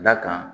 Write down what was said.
Da kan